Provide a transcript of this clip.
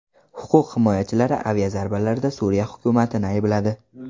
Huquq himoyachilari aviazarbalarda Suriya hukumatini aybladi.